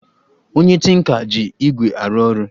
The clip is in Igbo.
Onye tinka ji igwé arụ ọrụ